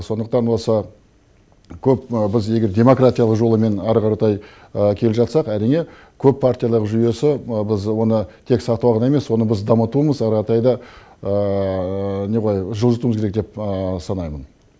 сондықтан осы көп біз егер демократиялық жолымен әрі қаратай келе жатсақ әрине көп партиялық жүйесі біз оны тек сатываған емес оны біз дамытуымыз әрі қаратай да не ғой жылжытуымыз керек деп санаймын